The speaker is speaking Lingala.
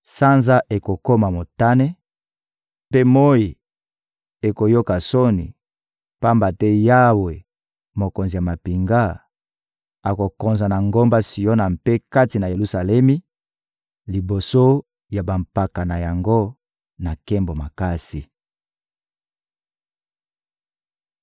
Sanza ekokoma motane, mpe moyi ekoyoka soni, pamba te Yawe, Mokonzi ya mampinga, akokonza na ngomba Siona mpe kati na Yelusalemi, liboso ya bampaka na yango, na nkembo makasi.